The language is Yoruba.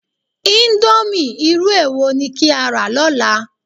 Íńdómì irú èwo ni kí á rà lọ́la?